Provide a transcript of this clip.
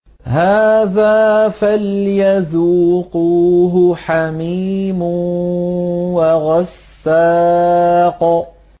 هَٰذَا فَلْيَذُوقُوهُ حَمِيمٌ وَغَسَّاقٌ